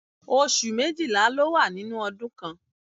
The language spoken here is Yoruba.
Oṣù méjìlá ló wà nínú ọdún kan.